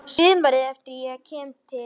Sumarið eftir kem ég til